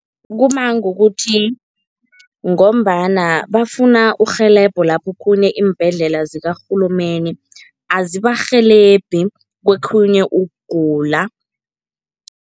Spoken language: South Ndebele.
Kuma ngokuthi ngombana bafuna urhelebho, lapho okhunye iimbhedlela zikarhulumende azibarhelebhi kokhunye ukugula.